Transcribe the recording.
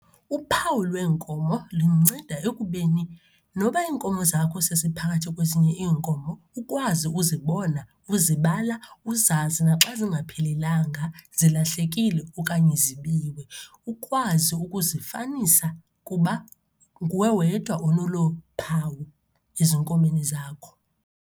Uphawu lweenkomo lunceda ekubeni noba iinkomo zakho seziphakathi kwezinye iinkomo, ukwazi uzibona, ukuzibala, uzazi naxa zingaphelelanga, zilahlekile, okanye zibiwe. Ukwazi ukuzifanisa kuba nguwe wedwa onolu phawu ezinkomeni zakho.